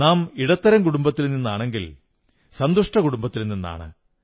നാം ഇടത്തരം കുടുംബത്തിൽ നിന്നാണെങ്കിൽ സന്തുഷ്ട കുടുംബത്തിൽ നിന്നാണ്